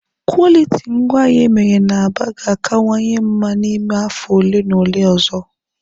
Kwọlitii ngwaahịa emere na Aba ga-akawanye mma n'ime afọ ole na ole ọzọ.